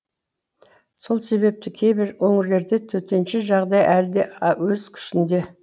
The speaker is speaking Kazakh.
сол себепті кейбір өңірлерде төтенше жағдай әлі де өз күшінде